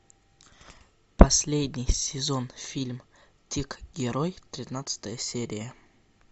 последний сезон фильм тик герой тринадцатая серия